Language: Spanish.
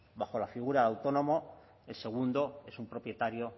bajo la figura de autónomo el segundo es un propietario